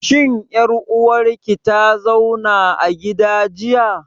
Shin ƴar uwar ki ta zauna a gida jiya?